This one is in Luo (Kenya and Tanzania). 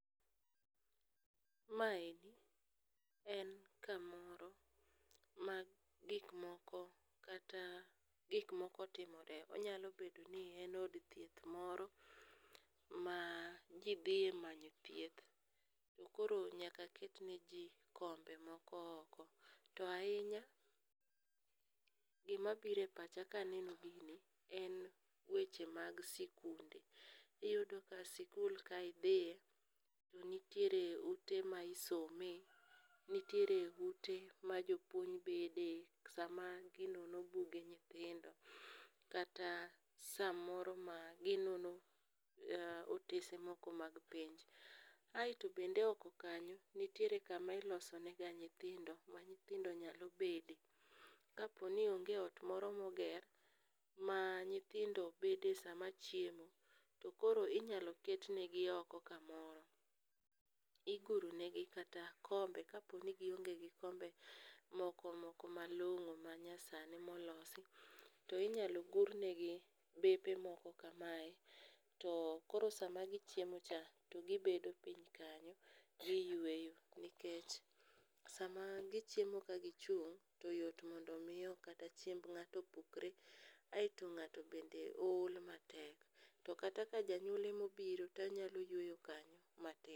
Maendi en kamoro ma gikmoko kata gikmoko timore, onyalo bedo ni en od thieth moro ma ji dhiye manyo thieth, to koro nyaka ket neji kombe moko oko. To ahinya gimabiro e pacha kaneno gini en weche mag sikunde. Iyudo ka sikul ka idhiye to nitiere ute ma isome, nitiere ute ma jopuonj bede sama ginono buge nyithindo, kata samoro maginono otese moko mag penj. Aeto bende oko kanyo, nitiere kama ilosonega nyithindo ma nyithindo nyalo bede. Kaponi onge ot moro ma oger ma nyithindo bede sama chiemo, tokoro inyalo ket negi oko kamoro. Iguro negi kata kombe kapo ni gionge kod kombe moko moko malong'o manyasani molosi, to inyalo gurnegi bepe moko kamae, to koro sama gichiemocha, to gibedo piny kanyo, giyweyo nikech sama gichiemo ka gichung',to yot mondo omi kata chiemb ng'ato pukre, aeto ng'ato bende ol matek. To kata ka janyuol emobiro tonyalo yweyo kanyo matin.